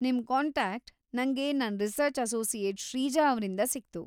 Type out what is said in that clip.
ನಿಮ್‌ ಕಾಂಟಾಕ್ಟ್‌ ನಂಗೆ ನನ್ ರೀಸರ್ಚ್‌ ಅಸೋಸಿಯೆಟ್‌ ಶ್ರೀಜಾ ಅವ್ರಿಂದ ಸಿಕ್ತು.